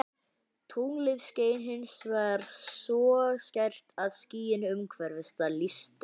Tunglið skein hins vegar svo skært að skýin umhverfis það lýstust upp.